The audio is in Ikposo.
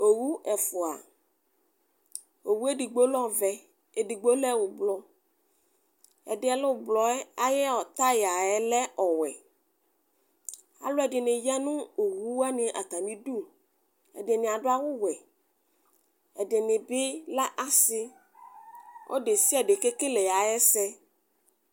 Owʋ ɛfʋa edigbo lɛ ɔvɛ edigbo lɛ ʋblɔ ɛdi yɛ lɛ ʋblɔ yɛ ayʋ tayayɛ lɛ ɔwɛ alʋ ɛdini yanʋ owʋ wani ata mi idʋ ɛdini adʋ awʋwɛ ɛdini bi lɛ asi ɔlʋ desiade kekele ayʋ ɛsɛ